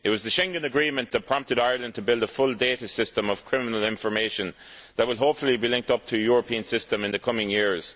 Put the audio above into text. It was the Schengen Agreement that prompted Ireland to build a full data system of criminal information that will hopefully be linked up to a European system in the coming years.